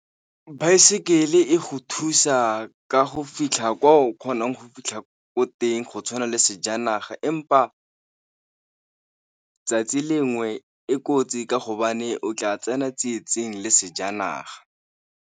Baesekele e go thusa ka go fitlha kwa o kgonang go fitlha ko teng go tshwana le sejanaga, empa 'tsatsi lengwe e kotsi ka hobane o tla tsena tsietsing le sejanaga.